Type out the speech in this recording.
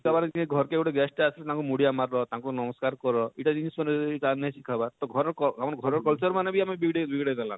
ସିଖାବାର କେ ଘରକେ ଗୁଟେ guest ଆସିଛନ ତାଙ୍କୁ ମୁଡିଆ ମାରବ ତାଙ୍କୁ ନମସ୍କାର କର ଇଟା ମାନେ ଯଦି ସେମାନେ ନେଇ ସିଖାବାର ତ ଘରର ଘରର ଆମର culture ମାନେ ବି ଆମେ ବିଗଡେଇ ବିଗଡେଇ ଦେଲାନ